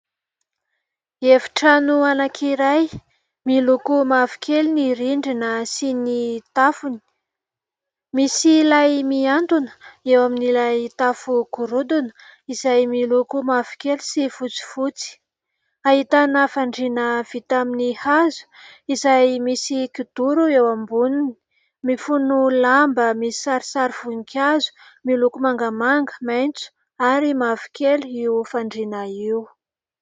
Efitrano anankiray, miloko mavokely ny rindrina sy ny tafony. Misy lay miantona eo amin'ilay tafo gorodona izay miloko mavokely sy fotsifotsy. Ahitana fandriana vita amin'ny hazo izay misy kidoro eo amboniny; mifono lamba misy sarisary voninkazo miloko mangamanga, maitso ary mavokely io fandriana io.